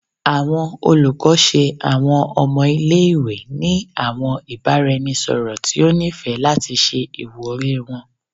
Awọn olukọ ṣe awọn ọmọ ile-iwe ni awọn ibaraẹnisọrọ ti o nifẹ lati ṣe iwuri wọn